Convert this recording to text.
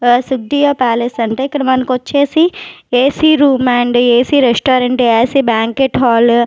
Suttiya palace అంటే ఇక్కడ మనకొచ్చేసి AC room and AC restaurant AC banquet hall --